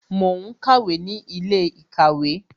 Mo ń kàwé ní ilé ìkàwé